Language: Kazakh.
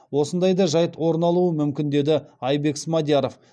осындай да жайт орын алуы мүмкін деді айбек смадияров